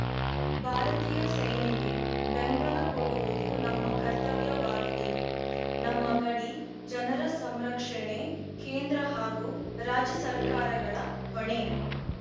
ಭಾರತೀಯ ಸೇನೆಗೆ ಬೆಂಬಲ ಕೊಡುವುದು ನಮ್ಮ ಕರ್ತವ್ಯವಾಗಿದೆ ನಮ್ಮ ಗಡಿ ಜನರ ಸಂರಕ್ಷಣೆ ಕೇಂದ್ರ ಹಾಗೂ ರಾಜ್ಯ ಸರ್ಕಾರಗಳ ಹೊಣೆ